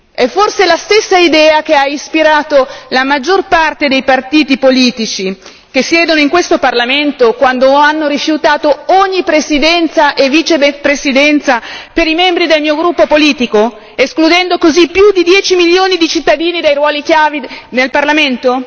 È forse la stessa idea che ha ispirato la maggior parte dei partiti politici che siedono in questo Parlamento quando hanno rifiutato ogni presidenza e vicepresidenza per i membri del mio gruppo politico, escludendo così più di 10 milioni di cittadini dai ruoli chiave nel Parlamento?